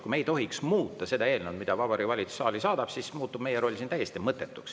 Kui me ei tohiks muuta eelnõu, mille Vabariigi Valitsus saali on saatnud, siis oleks meie roll siin täiesti mõttetu.